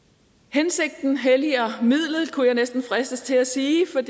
hensigten helliger midlet kunne jeg næsten fristes til at sige for